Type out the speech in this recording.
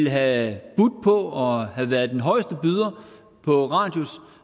havde budt og havde været den højeste byder på radius